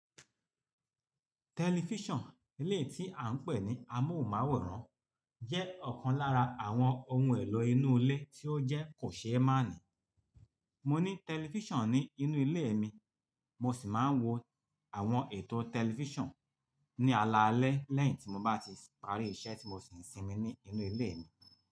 Tẹlifíṣàn, ilé tí à ń pè ní amóhùnmáwòrán jẹ́ ọ̀kan lára àwọn ohun èlò inú ilé tí ó jẹ́ kò ṣé máàní. Mo ní tẹlifíṣàn ní inú ilé mi, mo sì máa ń wo àwọn ètò tẹlifíṣàn ní alaalẹ́ lẹ́yìn tí mo bá ti parí iṣẹ́ tí mo ṣè sínmi ní inú ilé mi.